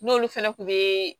N'olu fɛnɛ kun be